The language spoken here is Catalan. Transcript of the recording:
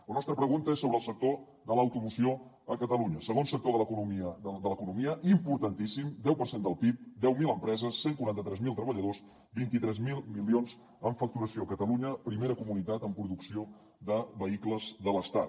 la nostra pregunta és sobre el sector de l’automoció a catalunya segon sector de l’economia importantíssim deu per cent del pib deu mil empreses cent i quaranta tres mil treballadors vint tres mil milions en facturació catalunya primera comunitat en producció de vehicles de l’estat